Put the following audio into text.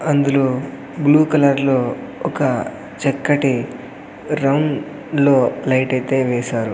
అందులో బ్లూ కలర్లో ఒక చక్కటి రంగ్ లో లైట్ ఐతే వేసారు.